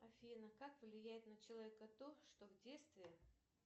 афина как влияет на человека то что в детстве